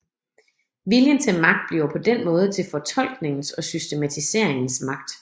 Viljen til magt bliver på den måde til fortolkningens og systematiseringens magt